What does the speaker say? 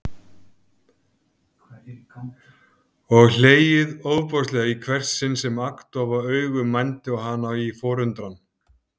Og hlegið ofboðslega í hvert sinn sem agndofa augu mændu á hana í forundran.